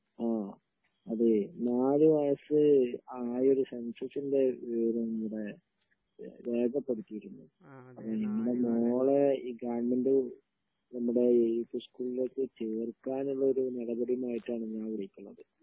ആ അതേ നാല് വയസ്സ് ആയോരു സെൻസസിന്റെ വിവരം ഇവിടെ രേഖപ്പെടുത്തിയിട്ടുണ്ട് അപ്പോ നിങ്ങടെ മോളെ ഈ ഗവൺമെന്റ് നമ്മുടെ സ്കൂളേക്ക് ചേർക്കാനുള്ള ഒരു നടപടിയുമായിട്ടാണ് ഞാൻ വിളിക്കുന്നത്